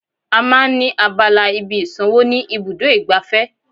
À máa ń ní abala ibi ìsànwó ni ibùdó igbàfẹ́